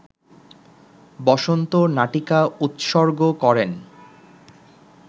বসন্ত নাটিকা উৎসর্গ করেন